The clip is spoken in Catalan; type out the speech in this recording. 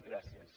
gràcies